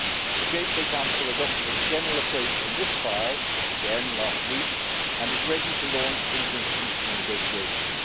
The JHA Council adopted a general approach on this proposal last week and is ready to launch interinstitutional negotiations.